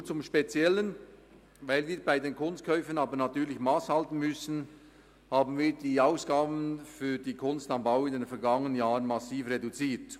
Nun zum Speziellen: Weil wir bei den Kunstkäufen natürlich Mass halten müssen, haben wir die Ausgaben für die «Kunst am Bau» in den vergangenen Jahren massiv reduziert.